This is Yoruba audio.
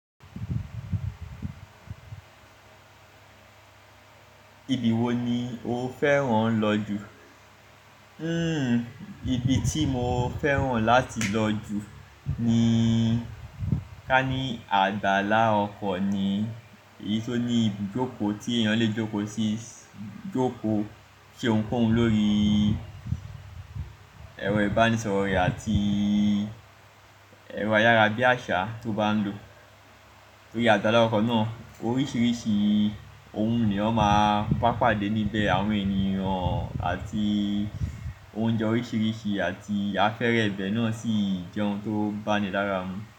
Ibi wo ni o fẹ́ràn lọ jù? Hmm, ibi tí mo fẹ́ràn láti lọ jù ni ká ní àgbàlá ọkọ̀ ni, èyí tó ní ibi ìjókòó tí èèyàn lè jókòó sí, jókòó, ṣe ohunkóhun lórí ẹ̀rọ ìbánisọ̀rọ̀ rẹ̀ àti ẹ̀rọ ayára bí àṣá tó bá ń lò. Torí àgbàlá ọkọ̀ náà oríṣiríṣi ohun ni wọ́n máa ń bàpàdé níbẹ̀, àwọn ènìyàn àti oúnjẹ oríṣiríṣi àti afẹ́rẹ́ ibẹ̀ náà sì jẹ́ ohun tó bá mi lára mú.